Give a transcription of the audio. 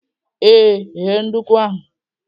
Ee, ghee nduku ahụ.